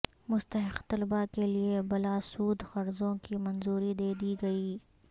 مستحق طلبا کیلیے بلاسود قرضوں کی منظوری دے دی گئی